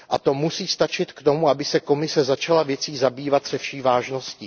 A to musí stačit k tomu, aby se Komise začala věcí zabývat se vší vážností.